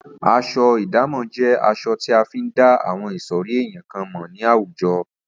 As̩o̩ ìdámò̩ jé̩ as̩o̩ tí a fi ń dá àwo̩n ìsò̩rí èèyàn kan mò̩ ní àwùjo̩